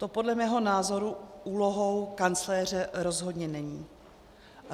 To podle mého názoru úlohou kancléře rozhodně není.